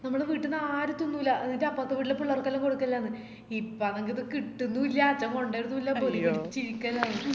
നമ്മളെ വീട്ടീന്ന് ആരും തിന്നൂല എന്നിറ്റ് അപ്പറത്തെ വീട്ടിലെ പിള്ളേർക്ക് എല്ലാം കൊടുക്കലാന്ന് ഇപ്പന്നെങ്കില് ഇത് കിട്ടുന്നുല്ല അച്ഛൻ കൊണ്ടെരുന്നുല്ല പൊടി പിടിച്‌ ഇരിക്കലായി